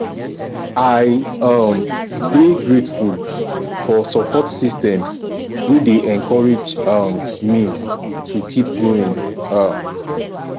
i um dey grateful for support systems wey dey encourage um me to keep going um